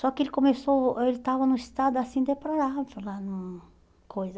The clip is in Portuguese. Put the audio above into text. Só que ele começou, ele tava num estado assim, deplorável, lá num coisa.